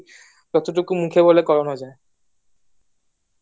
যতটুকু মুখে বলে করানো যায়